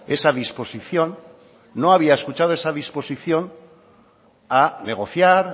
esa disposición no había escuchado esa disposición a negociar